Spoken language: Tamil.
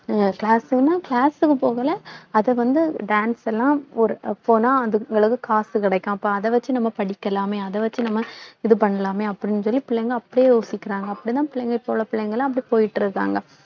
அஹ் class ன்னா class க்கும் போகலை அதை வந்து dance எல்லாம் ஒரு போனா அந்த அளவுக்கு காசு கிடைக்கும் அப்போ அதை வச்சு நம்ம படிக்கலாமே அதை வச்சு நம்ம இது பண்ணலாமே அப்படின்னு சொல்லி பிள்ளைங்க அப்படியே யோசிக்கிறாங்க அப்படிதான் பிள்ளைங்க இப்ப உள்ள பிள்ளைங்கெல்லாம் அப்படி போயிட்டு இருக்காங்க